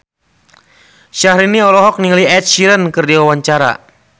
Syahrini olohok ningali Ed Sheeran keur diwawancara